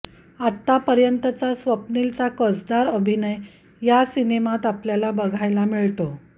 आत्तापर्यंतचा स्वप्नीलचा कसदार अभिनय या सिनेमात आपल्याला बघायला मिळतो